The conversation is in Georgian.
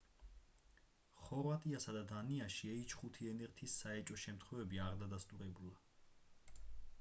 ხორვატიასა და დანიაში h5n1-ის საეჭვო შემთხვევები არ დადასტურებულა